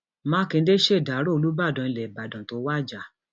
mákindé ṣèdàrọ olùbàdàn ilẹ ìbàdàn tó wájà